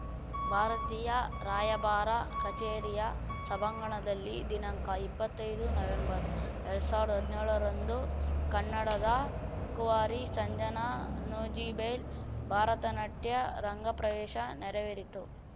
ಭಾರತೀಯ ರಾಯಭಾರ ಕಛೇರಿಯ ಸಭಾಂಗಣದಲ್ಲಿ ದಿನಾಂಕ ಇಪ್ಪತ್ತೈದು ನವಂಬರ್‌ ಎರಡ್ ಸಾವಿರ್ದಾ ಹದ್ನ್ಯೋಳರಂದು ಕನ್ನಡದ ಕುವರಿ ಸಂಜನಾ ನೂಜಿಬೈಲ್ ಭಾರತನಾಟ್ಯ ರಂಗಪ್ರವೇಶ ನೆರವೇರಿತು